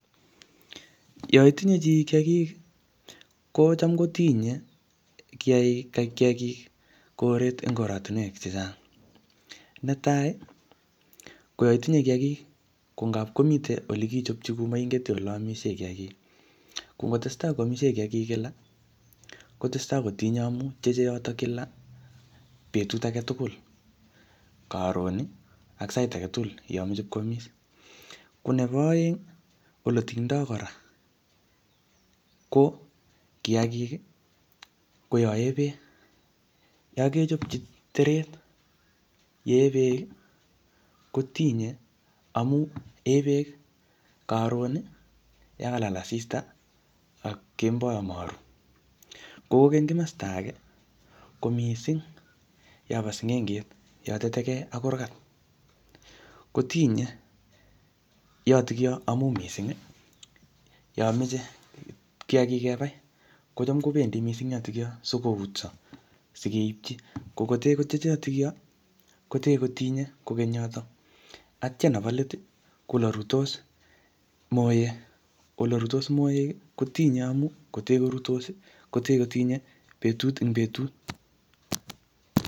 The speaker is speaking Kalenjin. Yoitinye chii kiyagik, kocham kotinye kiyagik koret eng oratunwek chechang'. Ne tai, ko yoitinye kiyagik, ko ngap komite ole kichopchi kuu moinget ole amisie kiyagik. Ko ngotestai koamisie kiyagik kila, kotesetai kotinye amuu tieje yotok kila, betut age tugul karon, ak sait age tugul yomeche koamis. Ko nebo aeng, ole tingdoi kora, ko kiyagik ko yae beek. Yakechopci teret yee beek, kotinye amu ee beek karon, yakalal asista ak kemboi amaru. Ko kokeny kimasta age, ko missing yobo sing'enget, yoteteke ak kurgat. Kotinye yotokyo amu missing, yomeche kiyagik kebai, kocham kobendi missing yotokyo sikoutso, sikeipchi. Ko kotee kotyeje yotokyo, kotee kotinye kokeny yotok. Atya nebo let, ko ole ruitos moek. Ole ruitos moek, kotinye amuu kotee koruitos, kotee kotinye betut ing betut